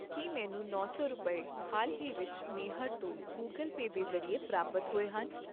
ਕੀ ਮੈਨੂੰ ਨੌ ਸੌ ਰੁਪਏ, ਹਾਲ ਹੀ ਵਿੱਚ ਮੇਹਰ ਤੋਂ ਗੁਗਲ ਪੇ ਦੇ ਜ਼ਰੀਏ ਪ੍ਰਾਪਤ ਹੋਏ ਹਨ ?,